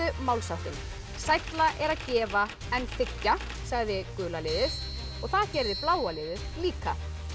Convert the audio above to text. málsháttinn sælla er að gefa en þiggja sagði gula liðið og það gerði bláa liðið líka